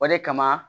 O de kama